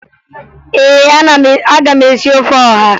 Ee, aga m esi ofe ọha